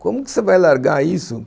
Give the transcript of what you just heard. Como que você vai largar isso?